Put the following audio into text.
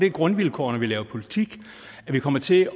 et grundvilkår når vi laver politik at vi kommer til